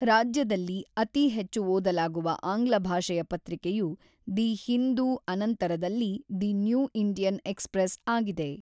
ರಾಜ್ಯದಲ್ಲಿ ಅತಿ ಹೆಚ್ಚು ಓದಲಾಗುವ ಆಂಗ್ಲ ಭಾಷೆಯ ಪತ್ರಿಕೆಯು ದಿ ಹಿಂದೂ ಆನಂತರದಲ್ಲಿ ದಿ ನ್ಯೂ ಇಂಡಿಯನ್ ಎಕ್ಸ್‌ಪ್ರೆಸ್ ಆಗಿದೆ.